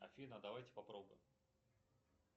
афина давайте попробуем